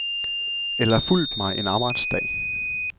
Eller fulgt mig en arbejdsdag.